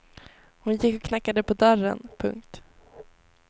Hon gick och knackade på dörren. punkt